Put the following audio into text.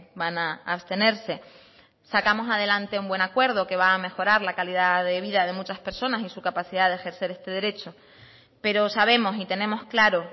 van a abstenerse sacamos adelante un buen acuerdo que va a mejorar la calidad de vida de muchas personas y su capacidad de ejercer este derecho pero sabemos y tenemos claro